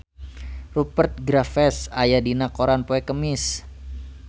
Rupert Graves aya dina koran poe Kemis